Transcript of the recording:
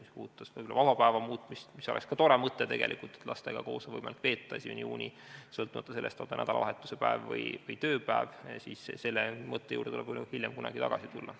Mis puudutab vabaks päevaks muutmist, mis oleks ka tore mõte, et lastega koos oleks võimalik 1. juuni veeta, sõltumata sellest, on see nädalavahetuse päev või tööpäev, siis selle mõtte juurde tuleb kunagi hiljem tagasi tulla.